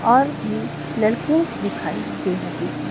और भी लड़के दिखाइ दे रहे है।